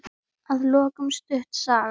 Að lokum stutt saga.